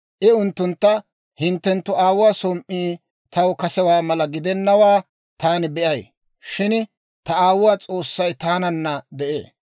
I unttuntta, «Hinttenttu aawuwaa som"i taw kasewaa mala gidennawaa taani be'ay; shin ta aawuwaa S'oossay taananna de'ee.